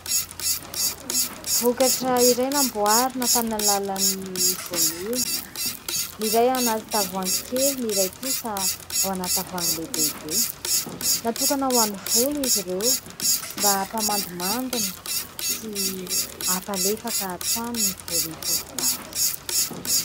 Vokatra iray namboarina tamin'ny alalan'ny voanio ; ny iray ao anaty tavoahangy kely, ny iray kosa ao anaty tavoahangy lehibehibe. Natokana ho an'ny volo izy ireo mba hampamandimandina sy hampalefaka hatrany ny volon'ny tovovavy.